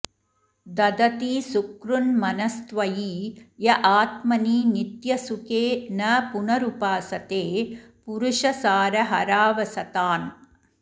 दधति सुकृन्मनस्त्वयि य आत्मनि नित्यसुखे न पुनरुपासते पुरुषसारहरावसथान्